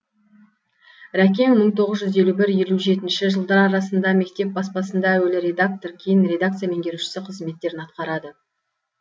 рәкең мың тоғыз жүз елу бір елу жетінші жылдар арасында мектеп баспасында әуелі редактор кейін редакция меңгерушісі қызметтерін атқарады